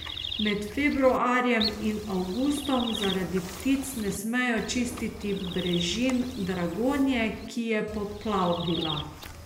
Med februarjem in avgustom zaradi ptic ne smejo čistiti brežin Dragonje, ki je poplavila.